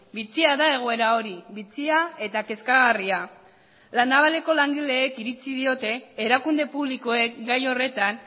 bitxia da egoera hori bitxia eta kezkagarria la navaleko langileek iritzi diote erakunde publikoek gai horretan